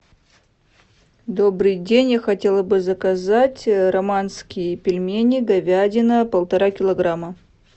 добрый день я хотела бы заказать романские пельмени говядина полтора килограмма